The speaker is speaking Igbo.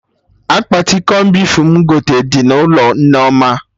Akpati cọn beef m gote dị n'ụlọ Nneoma